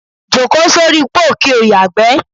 Jókòó sóri póò kí ó yàgbé̩.